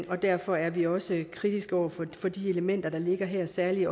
og derfor er vi også kritiske over for de elementer der ligger her særlig